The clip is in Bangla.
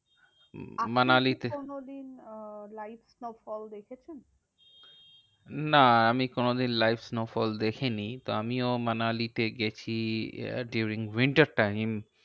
মানালিতে? আপনি কি কোনোদিন আহ live snowfall দেখেছেন? না আমি কোনোদিন live snowfall দেখিনি। তো আমিও মানালিতে গেছি ah during winter time in